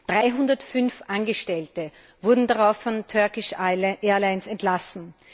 305 Angestellte wurden darauf von Turkish Airlines entlassen.